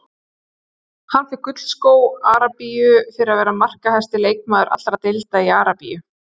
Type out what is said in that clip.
Hann fékk gullskó Arabíu fyrir að vera markahæsti leikmaður allra deilda í Arabíu.